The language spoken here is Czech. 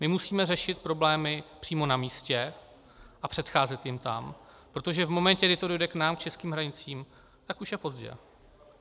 My musíme řešit problémy přímo na místě a předcházet jim tam, protože v momentě, kdy to dojde k nám, k českým hranicím, tak už je pozdě.